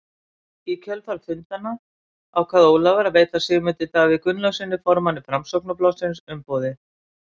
Í kjölfar fundanna ákvað Ólafur að veita Sigmundi Davíð Gunnlaugssyni, formanni Framsóknarflokksins, umboðið.